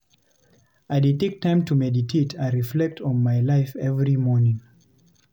I dey take time to meditate and reflect on my life every morning.